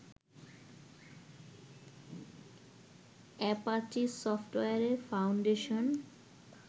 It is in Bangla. Apache software foundation